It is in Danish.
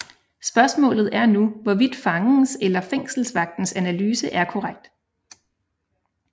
Spørgsmålet er nu hvorvidt fangens eller fængselsvagtens analyse er korrekt